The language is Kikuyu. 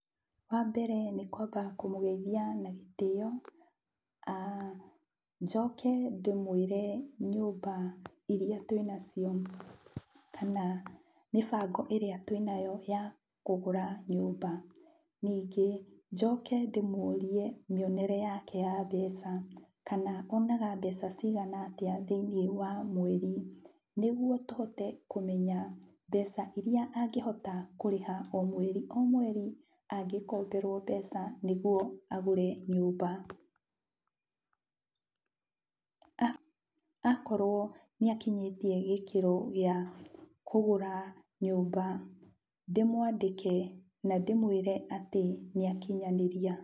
Wambere nĩkwamba kũmũgeithia na gĩtĩo, a njoke ndĩmwĩre nyũmba iria twĩnacio, kana mĩbango ĩrĩa twĩnayo, ya kũgũra nyũmba, ningĩ, njoke ndĩmũrie mĩonere yake ya mbeca, kana onaga mbeca cigana atĩa thiĩnĩ wa mweri. Nĩguo tũhote kũmenya mbeca iria angĩhota kũrĩha o mweri o mweri, angĩkomberwo mbeca nĩguo agũre nyũmba, a akorwo nĩakinyĩtie gĩkĩro gĩa kũgũra nyũmba ndĩmwandĩke, na ndĩmwĩre atĩ nĩakinyanĩria.